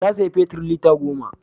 Ta saya fetir lita goma